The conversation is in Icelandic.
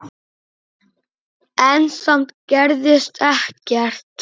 En samt gerðist ekkert.